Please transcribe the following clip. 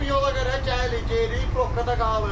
Bax bu yola görə gəlirik, yeyirik, proqada qalır.